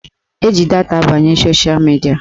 Eji data abanye sosha midia